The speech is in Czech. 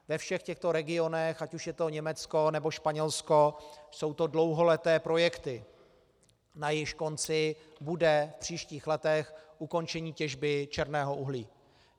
Ve všech těchto regionech, ať už je to Německo, nebo Španělsko, jsou to dlouholeté projekty, na jejichž konci bude v příštích letech ukončení těžby černého uhlí.